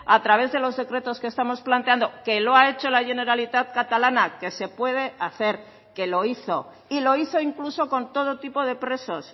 a través de los decretos que estamos planteando que lo ha hecho la generalitat catalana que se puede hacer que lo hizo y lo hizo incluso con todo tipo de presos